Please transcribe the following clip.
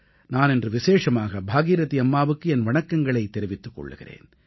நான் இன்று விசேஷமாக பாகீரதீ அம்மாவுக்கு என் வணக்கங்களைத் தெரிவித்துக் கொள்கிறேன்